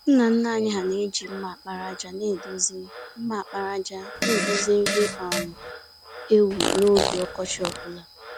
Nna nna anyị na-eji mma àkpàràjà nedozi mma àkpàràjà nedozi nri um ewu n’oge ọkọchị ọ bụla.